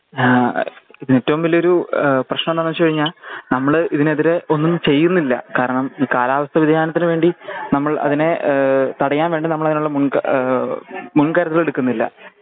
ആ ഇത് ഏറ്റോം വലിയൊരു ഏഹ് പ്രേശ്നന്താവെച്ച് കഴിഞ്ഞ നമ്മൾ ഇതിനെതിരെ ഒന്നും ചെയ്യുന്നില്ല കാരണം ഈ കാലാവസ്ഥ വേധിയാനത്തിനുവേണ്ടി നമ്മൾ അതിനെ ഏഹ് തടയാൻ വേണ്ടി നമ്മളതിനുള്ള മുൻക ഏഹ് മുൻകരുതൽ എടുക്കുന്നില്ല